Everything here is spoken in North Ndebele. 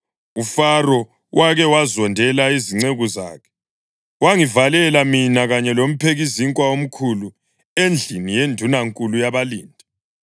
UFaro wake wazondela izinceku zakhe, wangivalela mina kanye lomphekizinkwa omkhulu endlini yendunankulu yabalindi.